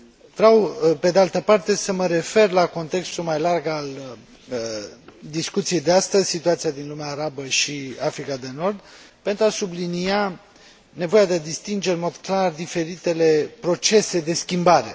Vreau, pe de altă parte, să mă refer la contextul mai larg al discuției de astăzi situația din lumea arabă și Africa de Nord pentru a sublinia nevoia de a distinge în mod clar diferitele procese de schimbare.